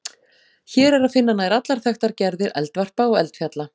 Hér er að finna nær allar þekktar gerðir eldvarpa og eldfjalla.